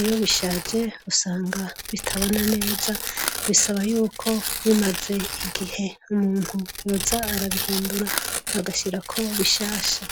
iyo bishaje usanga bitabona neza bisaba yuko bimaze igihe umuntu yoza arabihindura agashirako bishasha.